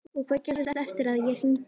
Og hvað gerðist eftir að ég hringdi?